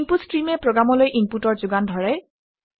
input ষ্ট্ৰীমে প্ৰগামলৈ ইনপুটৰ যোগান ধৰে